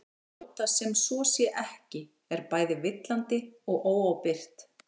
að láta sem svo sé ekki er bæði villandi og óábyrgt